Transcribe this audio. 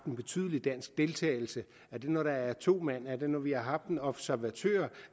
en betydelig dansk deltagelse er det når der er to mænd med er det når vi har haft en observatør